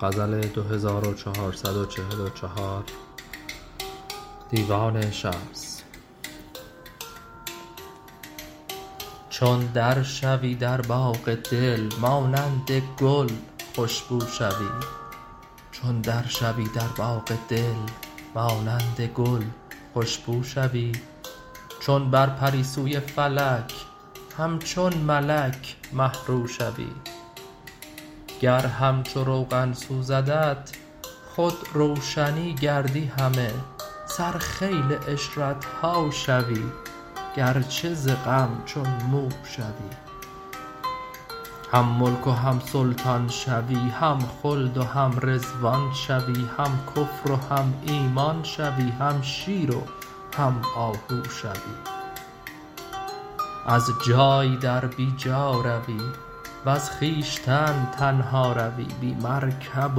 چون در شو ی در باغ دل مانند گل خوش بو شوی چون بر پر ی سوی فلک همچون ملک مه رو شوی گر همچو روغن سوزدت خود روشنی گردی همه سرخیل عشرت ها شوی گرچه ز غم چون مو شوی هم ملک و هم سلطان شوی هم خلد و هم رضوان شوی هم کفر و هم ایمان شوی هم شیر و هم آهو شوی از جای در بی جا روی وز خویشتن تنها روی بی مرکب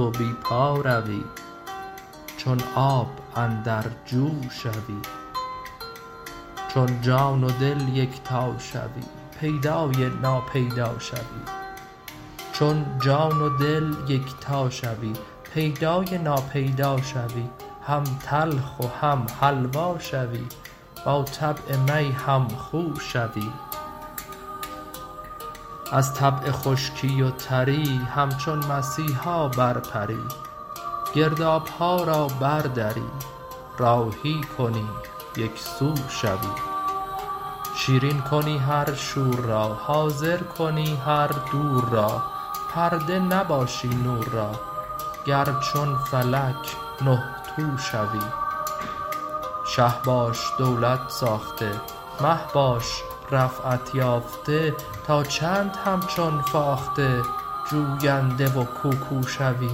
و بی پا روی چون آب اندر جو شوی چون جان و دل یکتا شوی پیدا ی نا پیدا شوی هم تلخ و هم حلوا شوی با طبع می هم خو شوی از طبع خشکی و تر ی همچون مسیحا برپر ی گرداب ها را بر دری راهی کنی یک سو شوی شیرین کنی هر شور را حاضر کنی هر دور را پرده نباشی نور را گر چون فلک نه تو شوی شه باش دولت ساخته مه باش رفعت یافته تا چند همچون فاخته جوینده و کوکو شوی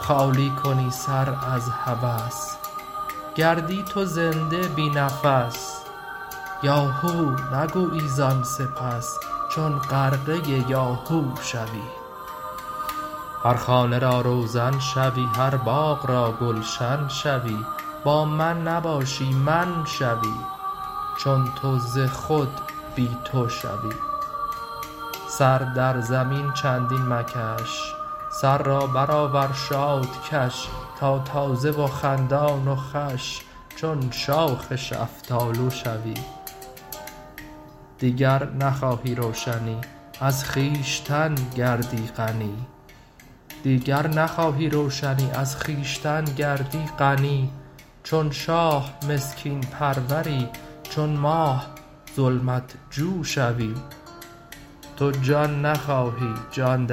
خالی کنی سر از هوس گردی تو زنده بی نفس یا هو نگویی زان سپس چون غرقه یاهو شوی هر خانه را روزن شوی هر باغ را گلشن شوی با من نباشی من شوی چون تو ز خود بی تو شوی سر در زمین چندین مکش سر را برآور شاد کش تا تازه و خندان و خوش چون شاخ شفتالو شوی دیگر نخواهی روشنی از خویشتن گردی غنی چون شاه مسکین پرور ی چون ماه ظلمت جو شوی تو جان نخواهی جان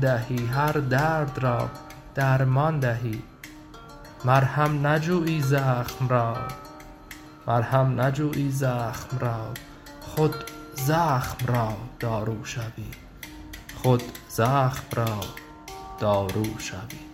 دهی هر درد را درمان دهی مرهم نجویی زخم را خود زخم را دارو شوی